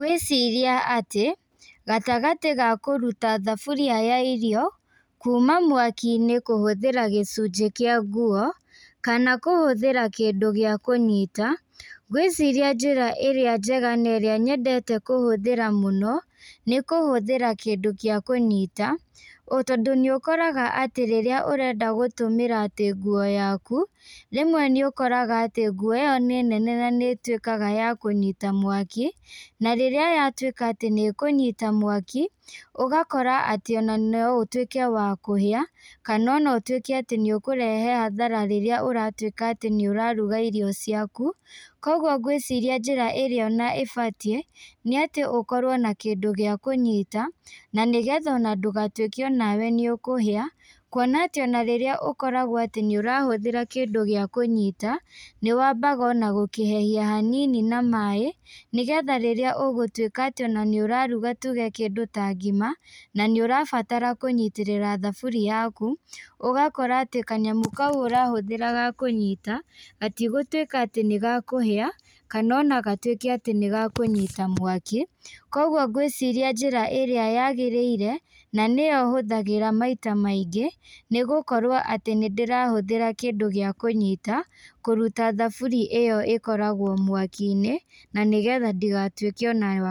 Ngwĩciria atĩ, gatagatĩ ga kũruta thaburia ya irio, kuma mwakinĩ kũhũthĩra gĩcunjĩ kĩa nguo, kana kũhũthĩra kĩndũ gĩa kũnyita, ngwĩciria njĩra ĩrĩa njega na ĩrĩa nyendete kũhũthĩra mũno, nĩkũhũthĩra kĩndũ gĩa kũnyita, tondũ nĩũkoraga atĩ rĩrĩa ũrenda gũtũmĩra atĩ nguo yaku, rĩmwe nĩũkoraga atĩ nguo ĩyo nĩ nene na nĩituĩkaga ya kũnyita mwaki, na rĩrĩa yatuĩka atĩ nĩkũnyita mwaki, ũgakora atĩ ona no ũtuĩke wa kũhia, kana ona ũtuĩke atĩ nĩũkũrehe hathara rĩrĩa ũratuĩka atĩ nĩũraruga irio ciaku, koguo ngwĩciria njĩra ĩrĩa ona ĩbatiĩ, nĩatĩ ũkorwo na kĩndũ gĩa kũnyita, na nĩgetha ona ndũgatuĩke onawe nĩũkũhĩa, kuona atĩ ona rĩrĩa ũkoragwo atĩ nĩũrahũthĩra kĩndũ gĩa kũnyita, nĩwambaga ona gũkĩhehia hanini na maĩ, nagetha rĩrĩa ũgũtuĩka atĩ ona nĩũraruga tuge kĩndũ ta ngima, na nĩũrabatara kũnyitĩrĩra thaburi yaku, ũgakora atĩ kanyamũ kau ũrahũthĩra gakũnyita, gatigũtuĩka atĩ nĩgakũhĩa, kana ona gatuĩke atĩ nĩgakũnyita mwaki, koguo ngwĩciria njĩra ĩrĩa yagĩrĩire, na nĩyo hũthagĩra maita maingĩ, nĩgũkorwoa atĩ nĩndĩrahũthĩra kĩndũ gĩa kũnyita, kũruta thaburi ĩyo ĩkoragwo mwakinĩ, na nĩgetha ndĩgatuĩke onayo.